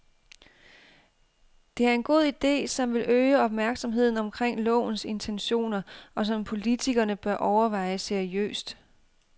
Det er en god ide, som vil øge opmærksomheden omkring lovens intentioner og som politikerne bør overveje seriøst.